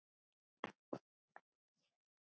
Verði henni að góðu.